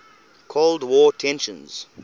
cold war tensions